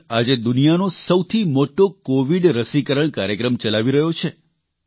ભારત આજે દુનિયાનો સૌથી મોટો કોવિડ રસીકરણ કાર્યક્રમ ચલાવી રહ્યો છે